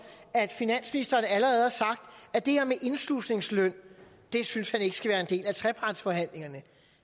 at finansministeren allerede har sagt at det her med indslusningsløn synes han ikke skal være en del af trepartsforhandlingerne